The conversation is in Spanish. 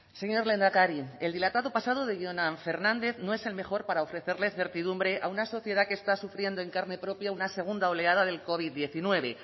señor lehendakari el dilatado pasado de jonan fernández no es el mejor para ofrecerle certidumbre a una sociedad que está sufriendo en carne propia una segunda oleada del covid diecinueve